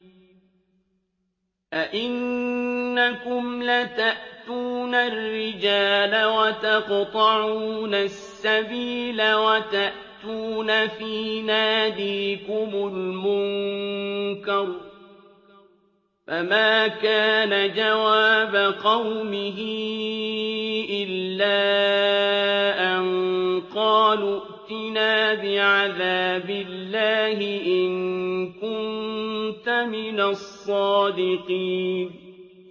أَئِنَّكُمْ لَتَأْتُونَ الرِّجَالَ وَتَقْطَعُونَ السَّبِيلَ وَتَأْتُونَ فِي نَادِيكُمُ الْمُنكَرَ ۖ فَمَا كَانَ جَوَابَ قَوْمِهِ إِلَّا أَن قَالُوا ائْتِنَا بِعَذَابِ اللَّهِ إِن كُنتَ مِنَ الصَّادِقِينَ